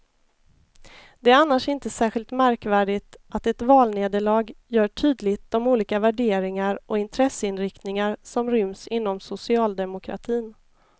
Det är annars inte särskilt märkvärdigt att ett valnederlag gör tydligt de olika värderingar och intresseinriktningar som ryms inom socialdemokratin.